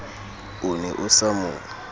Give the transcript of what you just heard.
o ne o sa mo